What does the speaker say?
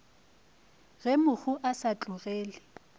ge mohu a sa tlogele